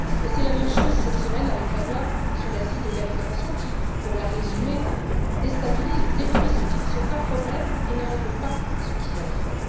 C'est la même chose cette semaine avec la loi sur l'asile et la migration qui, pour la résumer, déstabilise ou détruit ce qui ne pose pas de problème et ne règle pas ce qui en pose.